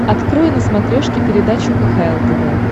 открой на смотрешке передачу кхл тв